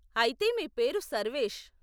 అయితే మీ పేరు సర్వేష్.